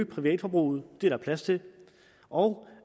privatforbruget det er der plads til og